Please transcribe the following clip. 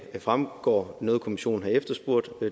fremgår noget kommissionen har efterspurgt